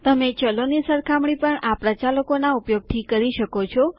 તમે ચલોની સરખામણી પણ આ પ્રચાલકોના ઉપયોગથી કરી શકો છો